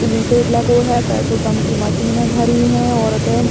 Tin shed लगो है। Petrol pump की मशीने धरी हैं। औरते --